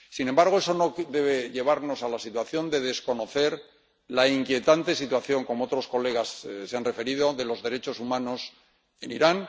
Sin embargo, eso no debe llevarnos a la situación de desconocer la inquietante situación —a la que otros colegas se han referido— de los derechos humanos en Irán.